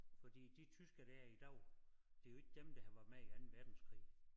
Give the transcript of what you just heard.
Fordi de tyskere der er i dag det jo ikke dem der har været med i Anden Verdenskrig